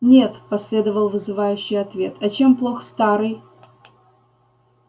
нет последовал вызывающий ответ а чем плох старый